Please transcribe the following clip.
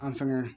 An fɛnɛ